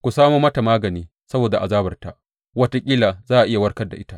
Ku samo mata magani saboda azabarta; wataƙila za a iya warkar da ita.